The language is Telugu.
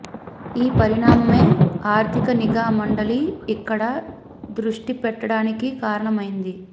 ఈ పరిణామమే ఆర్థిక నిఘా మండలి ఇక్కడ దృష్టి పెట్టడానికి కారణమైంది